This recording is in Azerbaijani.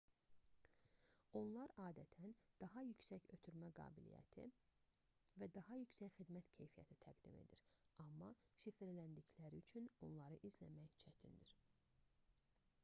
onlar adətən daha yüksək ötürmə qabiliyyəti və daha yüksək xidmət keyfiyyəti təqdim edir amma şifrləndikləri üçün onları izləmək çətindir